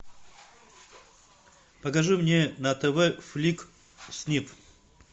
покажи мне на тв флик снип